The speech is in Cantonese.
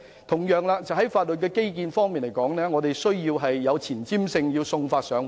同樣地，在法律基建方面，我們需要有前瞻性，要送法上門。